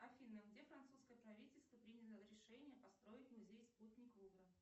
афина где французское правительство приняло решение построить музей спутник лувра